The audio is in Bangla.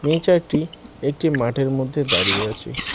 মেয়ে চারটি একটি মাঠের মধ্যে দাঁড়িয়ে আছে।